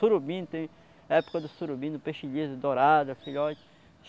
Surubim, tem época do surubim, do peixe liso, dourado, filhote.